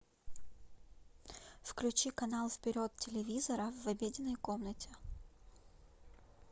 включи канал вперед телевизора в обеденной комнате